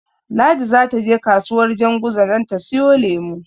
Ladi zata je kasuwar Janguza don ta siyo lemo.